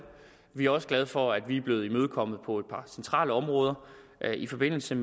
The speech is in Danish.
vi er også glade for at vi er blevet imødekommet på et par centrale områder i forbindelse